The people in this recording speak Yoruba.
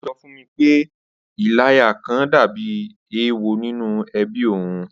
Ó sọ fún mi pé “. Ìláya kan” dàbí èèwọ̀ nínú ẹbí òun